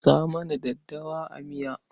Sa mana daddawa a miya.